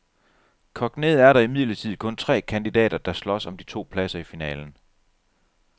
Kogt ned er der imidlertid kun tre kandidater, der slås om de to pladser i finalen.